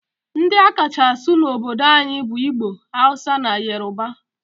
Ndi a kacha asụ n'obodo anyi bu Igbo, Hausa, na Yoruba.